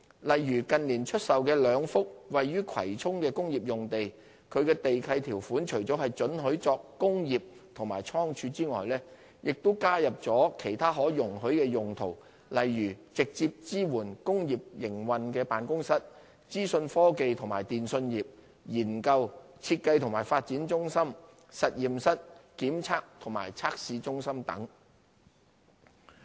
例如近年售出的兩幅位於葵涌的工業用地，其地契條款除了准許作工業及倉庫外，亦加入了其他可容許的用途，例如直接支援工業營運的辦公室、資訊科技及電訊業、研究、設計及發展中心、實驗室、檢查及測試中心等。